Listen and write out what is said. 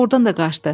Ordan da qaçdı.